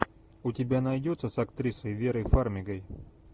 у тебя найдется с актрисой верой фармигой